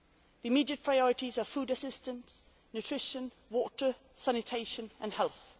The immediate priorities are food assistance, nutrition, water, sanitation and